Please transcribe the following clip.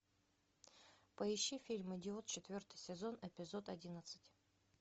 поищи фильм идиот четвертый сезон эпизод одиннадцать